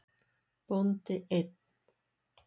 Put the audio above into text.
Bóndi einn.